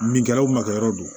Min kɛra u makɛyɔrɔ don